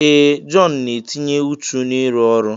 Ee! Jọn na-etinye ùchù n'ịrụ ọrụ.